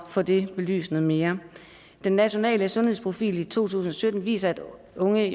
få det belyst noget mere den nationale sundhedsprofil i to tusind og sytten viser at unge